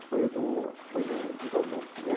esse foi o do, acho que foi do do Vanuc, né?